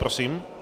Prosím.